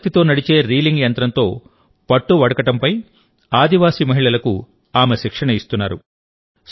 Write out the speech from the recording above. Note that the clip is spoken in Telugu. సౌరశక్తితో నడిచే రీలింగ్ యంత్రంతో పట్టు వడకడంపై ఆదివాసీ మహిళలకు ఆమె శిక్షణ ఇస్తున్నారు